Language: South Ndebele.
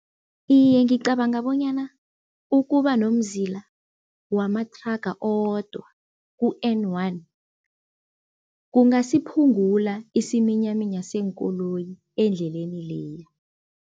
Iye ngicabanga bonyana, ukuba nomzila wamathraga owodwa ku-N one, kungasiphungula isiminyaminya seenkoloyi endleleni leya.